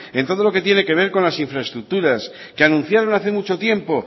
en todo lo que tiene que ver con las infraestructuras que anunciaron hace mucho tiempo